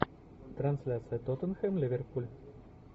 трансляция тоттенхэм ливерпуль